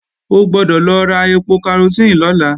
O gbọ́dọ̀ lọ ra ẹpo karosín lọ́la